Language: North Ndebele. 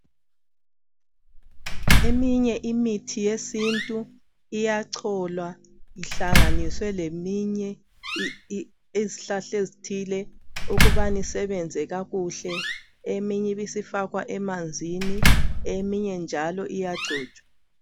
Eminye imithi yesintu iyacholwa ihlanganiswe leminye ezihlahla ezithile. Ukubana isebenze kakuhle, eminye ibi isifakwa emanzini eminye njalo iyagcotshwa.